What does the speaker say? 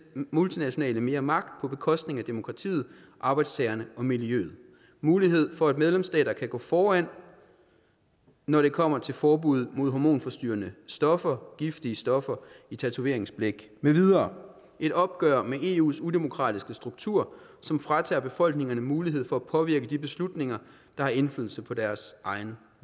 multinationale mere magt på bekostning af demokratiet arbejdstagerne og miljøet muligheden for at medlemsstater kan gå foran når det kommer til forbud imod hormonforstyrrende stoffer giftige stoffer i tatoveringsblæk med videre et opgør med eus udemokratiske struktur som fratager befolkningerne mulighed for at påvirke de beslutninger der har indflydelse på deres egen